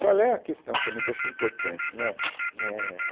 Qual é a questão também que eu acho que é importante, né? é